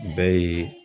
Bɛɛ ye